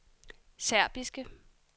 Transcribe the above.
serbiske